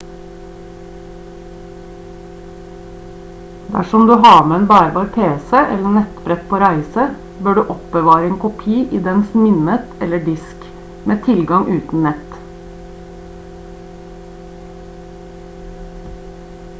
dersom du har med en bærbar pc eller nettbrett på reise bør du oppbevare en kopi i dens minnet eller disk med tilgang uten nett